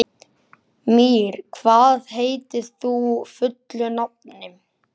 Mír, hvað heitir þú fullu nafni?